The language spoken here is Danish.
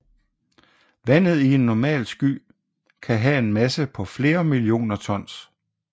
Vandet i en normal sky kan have en masse på flere millioner tons